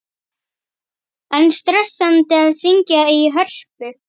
Er stressandi að syngja í Hörpu?